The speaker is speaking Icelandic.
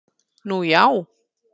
Nú, já